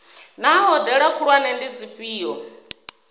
naa hoea khulwane ndi dzifhio